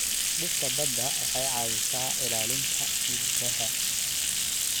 Dhirta badda waxay caawisaa ilaalinta hiddaha.